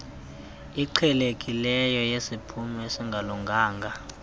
iqhelekileyo yesiphumo esingalunganga